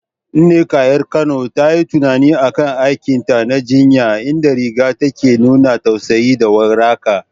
Nneka, 'yar Kano, ta yi tunani a kan aikinta na jinya, inda rigar ta ke nuna tausayi da waraka.